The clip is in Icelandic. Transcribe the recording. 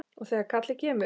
Og þegar kallið kemur.